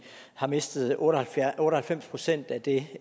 har mistet otte og halvfems procent af det